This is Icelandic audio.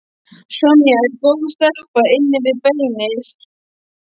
Sonja er góð stelpa inni við beinið.